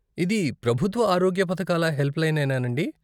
ఇది ప్రభుత్వ ఆరోగ్య పథకాల హెల్ప్లైనేనా అండీ?